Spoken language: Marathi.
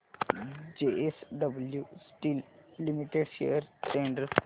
JSW steel limited shares trends चे विश्लेषण शो कर